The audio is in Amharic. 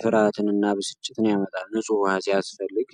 ፍርሃትንና ብስጭትን ያመጣል። ንጹህ ውሃ ሲያስፈልግ!